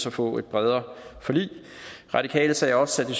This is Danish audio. at få et bredere forlig de radikale sagde også at